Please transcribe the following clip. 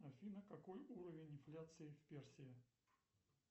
афина какой уровень инфляции в персии